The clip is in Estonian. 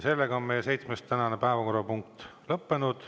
Meie tänane seitsmes päevakorrapunkt on lõppenud.